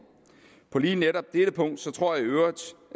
på lige netop dette punkt tror jeg